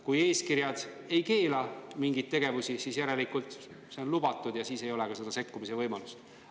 Kui eeskirjad ei keela mingeid tegevusi, siis järelikult need on lubatud ja siis ei ole ka sekkumise võimalust.